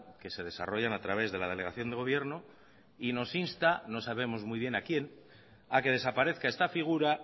que se desarrollan a través de la delegación de gobierno y nos insta no sabemos muy bien a quien a que desaparezca esta figura